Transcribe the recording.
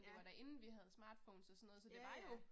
Ja. Ja ja